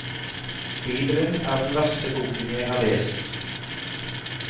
Bibelen er den verste boken jeg har lest.